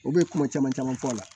U bɛ kuma caman caman fɔ la